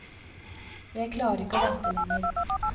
Jeg klarer ikke å vente lenger.